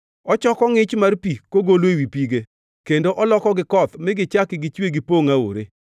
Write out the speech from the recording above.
“Ochoko ngʼich mar pi kogolo ewi pige, kendo olokogi koth mi gichak gichue gipongʼ aore;